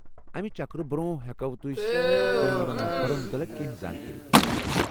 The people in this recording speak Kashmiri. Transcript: امہ چکرٕ برٛۄنٛہہ ، ہیکوا تُہسۍ تۄہہِ یمن مقبرن متعلق کٮ۪نٛہہ زانکٲری دِتھ؟